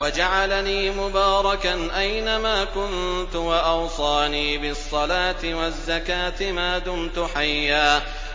وَجَعَلَنِي مُبَارَكًا أَيْنَ مَا كُنتُ وَأَوْصَانِي بِالصَّلَاةِ وَالزَّكَاةِ مَا دُمْتُ حَيًّا